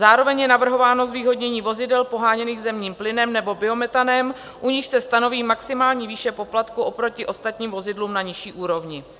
Zároveň je navrhováno zvýhodnění vozidel poháněných zemním plynem nebo biometanem, u nichž se stanoví maximální výše poplatku oproti ostatním vozidlům na nižší úrovni.